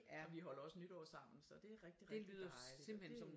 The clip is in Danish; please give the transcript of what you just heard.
Og vi holder også nytår sammen så det er rigtig rigtig dejligt og det